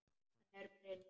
Hann er prins.